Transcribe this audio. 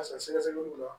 A si sɛgɛsɛgɛliw la